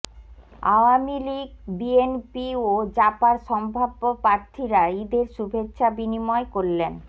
Awami League BNP ও জাপার সম্ভাব্য প্রার্থীরা ঈদের শুভেচ্ছা বিনিময় করলেন